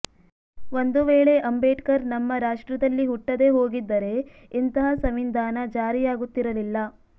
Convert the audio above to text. ಒಂದು ವೇಳೆ ಅಂಬೇಡ್ಕರ್ ನಮ್ಮ ರಾಷ್ಟ್ರದಲ್ಲಿ ಹುಟ್ಟದೇ ಹೋಗಿದ್ದರೆ ಇಂತಹ ಸಂವಿಧಾನ ಜಾರಿಯಾಗುತ್ತಿರಲಿಲ್ಲ